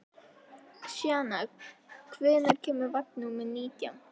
Sjana, hvenær kemur vagn númer nítján?